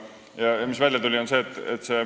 Ja mis välja tuli?